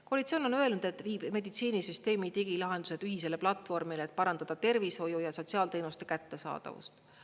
Koalitsioon on öelnud, et meditsiinisüsteemi digilahendused viiakse ühisele platvormile, et parandada tervishoiu ja sotsiaalteenuste kättesaadavust.